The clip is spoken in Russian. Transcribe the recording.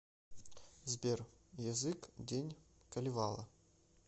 сбер язык день калевала